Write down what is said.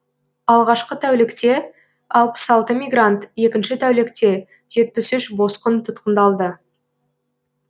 алғашқы тәулікте алпыс алты мигрант екінші тәулікте жетпіс үш босқын тұтқындалды